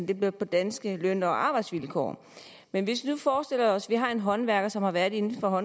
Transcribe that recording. det bliver på danske løn og arbejdsvilkår men hvis vi nu forestiller os at vi har en håndværker som har været inden for